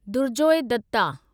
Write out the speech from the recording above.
Durjoy Dutta